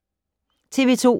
TV 2